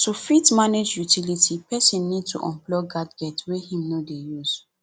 to fit manage utility person need to unplug gadgets wey im no dey use